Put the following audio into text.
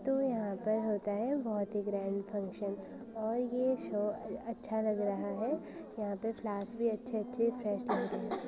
तो यहाँ पे होता है बहोत ही ग्रैंड फंक्शन और ये शो अ-अच्छा लग रहा है यहाँ पे फ्लावर्स भी अच्छे अच्छे फ्रेश लग रहे हैं।